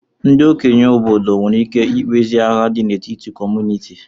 Ndị okenye obodo nwere ike ikpezi agha dị n'etiti kọmunịti